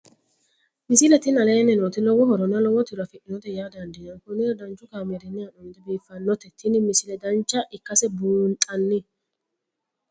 misile tini aleenni nooti lowo horonna lowo tiro afidhinote yaa dandiinanni konnira danchu kaameerinni haa'noonnite biiffannote tini misile dancha ikkase buunxanni